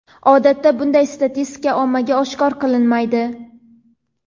Odatda bunday statistika ommaga oshkor qilinmaydi.